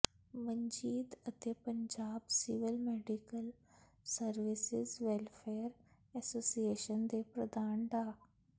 ਮਨਜੀਤ ਅਤੇ Punjab civil medical services welfare association ਦੇ ਪ੍ਰਧਾਨ ਡਾ